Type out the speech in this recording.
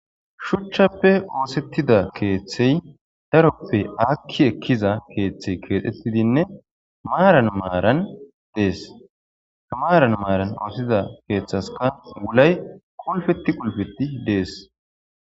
shuchchappe oosettida keeththey daroppe akki ekkiza keeththey keexxettidinne maaran maaran dees tamaaran maaran oosetida keeththaska gulay kolfetti qulpeti dees